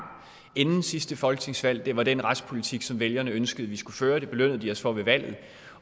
inden sidste folketingsvalg det var den retspolitik som vælgerne ønskede vi skulle føre og det belønnede de os for ved valget